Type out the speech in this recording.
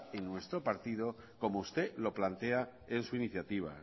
en nuestro partido como usted lo plantea en su iniciativa